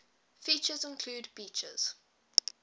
features include beaches